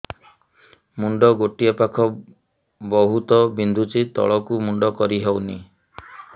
ମୁଣ୍ଡ ଗୋଟିଏ ପାଖ ବହୁତୁ ବିନ୍ଧୁଛି ତଳକୁ ମୁଣ୍ଡ କରି ହଉନି